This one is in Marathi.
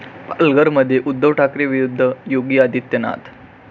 पालघरमध्ये उद्धव ठाकरे विरुद्ध योगी आदित्यनाथ